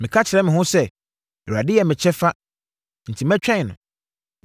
Meka kyerɛ me ho sɛ, “ Awurade yɛ me kyɛfa, enti mɛtwɛn no.”